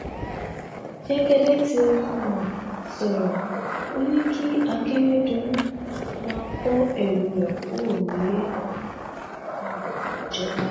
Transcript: jẹgẹdẹ ti um sọrọ ò ní kí akérèdọlù máa kó ẹrù ẹ kúrò nílé um ìjọba